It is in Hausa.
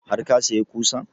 Har ka saya ƙusan?